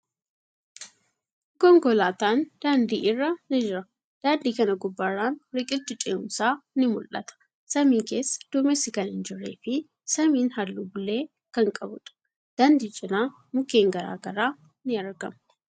Konkolaatan daandii irra ni jira. Daandii kana gubbarraan riqichi ce'uumsaa ni mul'ata. Samii keessa duumessi kan hin jirree fi samiin haalluu bulee kan qabuudha. Daandii cinaa mukkeen garagaraa ni argamu.